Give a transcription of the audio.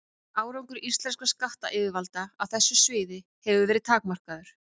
Árangur íslenskra skattyfirvalda á þessu sviði hefur verið takmarkaður.